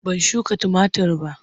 Ban shuka tumatir ba.